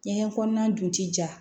Ɲɛgɛn kɔnɔna dun ti ja